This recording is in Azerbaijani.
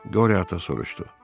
Qoryo ata soruşdu: